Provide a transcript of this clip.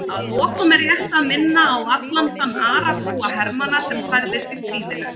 Að lokum er rétt að minna á allan þann aragrúa hermanna sem særðist í stríðinu.